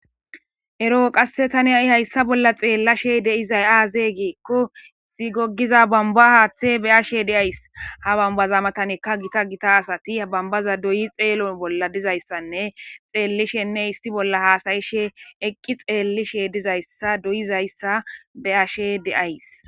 Ero qasse tani ha7i hayssa bolla xeellashe de7izay aazee giikko goggiza bombba haththee be7ashee de7ays; ha bombbaza matanikka githa githa asathi ha bombbaza dooyi xeelo bollan dizayssanne xeellisheenne issi bolla haasayishee eqqi xeellishee dizayssa dooyizayssa be7ashee de7ays.